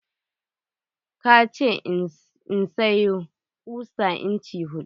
ka ce in sayo kusa inci hudu.